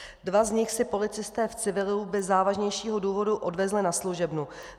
Dva z nich si policisté v civilu bez závažnějšího důvodu odvezli na služebnu.